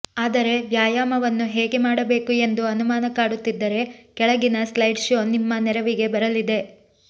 ಆದರೆ ವ್ಯಾಯಾಮವನ್ನು ಹೇಗೆ ಮಾಡಬೇಕು ಎಂದು ಅನುಮಾನ ಕಾಡುತ್ತಿದ್ದರೆ ಕೆಳಗಿನ ಸ್ಲೈಡ್ ಶೋ ನಿಮ್ಮ ನೆರವಿಗೆ ಬರಲಿದೆ